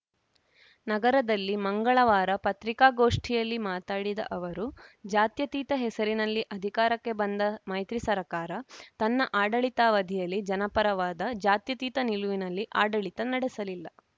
ನಗರದಲ್ಲಿ ಮಂಗಳವಾರ ಪತ್ರಿಕಾಗೋಷ್ಠಿಯಲ್ಲಿ ಮಾತನಾಡಿದ ಅವರು ಜಾತ್ಯತೀತ ಹೆಸರಿನಲ್ಲಿ ಅಧಿಕಾರಕ್ಕೆ ಬಂದ ಮೈತ್ರಿ ಸರ್ಕಾರ ತನ್ನ ಆಡಳಿತಾವಧಿಯಲ್ಲಿ ಜನಪರವಾದ ಜಾತ್ಯತೀತ ನಿಲುವಿನಲ್ಲಿ ಆಡಳಿತ ನಡೆಸಲಿಲ್ಲ